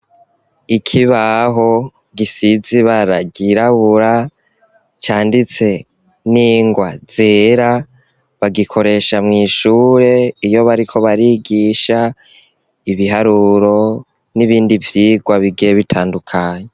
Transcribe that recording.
Ikibaho gisiz'ibara ryirabura, canditse n'ingwa zera, bagikoresha mw'ishure, iyo bariko barigisha ibiharuro n'ibindi vyigwa bigiye bitandukanye.